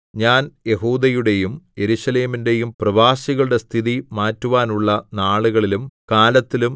ഞാൻ യെഹൂദയുടെയും യെരൂശലേമിന്റെയും പ്രവാസികളുടെ സ്ഥിതി മാറ്റുവാനുള്ള നാളുകളിലും കാലത്തിലും